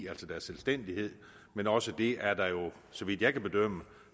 altså deres selvstændighed men også det er der jo så vidt jeg kan bedømme